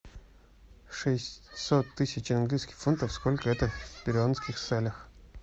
шестьсот тысяч английских фунтов сколько это в перуанских солях